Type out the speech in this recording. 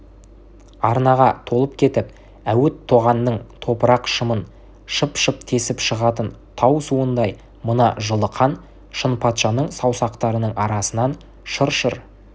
арнаға толып кетіп әуіт тоғанның топырақ-шымын шып-шып тесіп шығатын тау суындай мына жылы қан шынпатшаның саусақтарының арасынан шыр-шыр